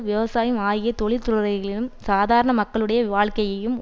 விவசாயம் ஆகிய தொழில்துறைகளையும் சாதாரண மக்களுடைய வாழ்க்கையையும்